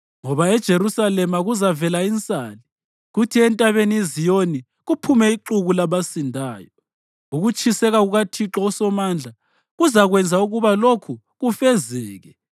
Ngoba eJerusalema kuzavela insali, kuthi entabeni iZiyoni kuphume ixuku labasindayo. Ukutshiseka kukaThixo uSomandla kuzakwenza ukuba lokhu kufezeke.